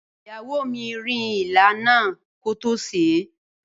Ìyàwó mi rin ilá náà kótó sèé.